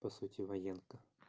по сути военка